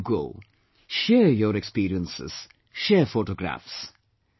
Wherever you go, share your experiences, share photographs